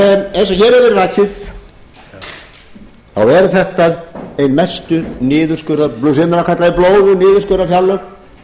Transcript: og hér hefur verið rakið þá eru þetta mestu niðurskurðar sumir kalla þau blóðug niðurskurðarfjárlög